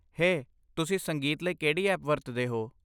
ਹੇ, ਤੁਸੀਂ ਸੰਗੀਤ ਲਈ ਕਿਹੜੀ ਐਪ ਵਰਤਦੇ ਹੋ?